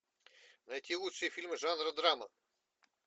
найти лучшие фильмы жанра драма